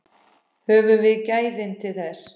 Höfum við gæðin til þess?